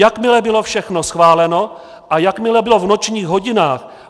Jakmile bylo všechno schváleno a jakmile bylo v nočních hodinách...